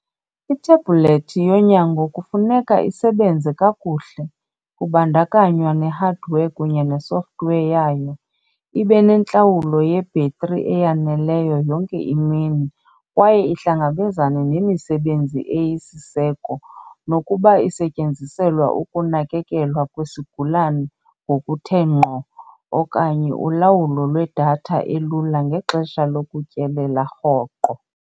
Ithebhulethi yonyango kufuneka isebenze kakuhle, kubandakanywa ne-hardware kunye ne-software yayo, ibe nentlawulo yebhetri eyaneleyo yonke imini, kwaye ihlangabezane nemisebenzi eyisiseko, nokuba isetyenziselwa ukunakekelwa kwesigulane ngokuthe ngqo okanye ulawulo lwedatha elula ngexesha lokutyelela rhoqo.